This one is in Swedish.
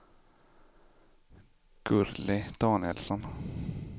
Gurli Danielsson